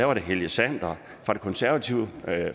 var det helge sander fra det konservative